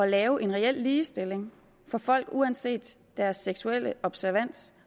lave en reel ligestilling for folk uanset deres seksuelle observans